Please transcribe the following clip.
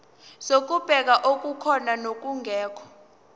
zokubheka okukhona nokungekho